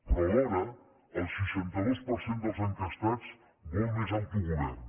però alhora el seixanta dos per cent dels enquestats vol més autogovern